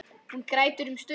Hún grætur um stund.